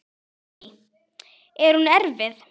Lillý: Er hún erfið?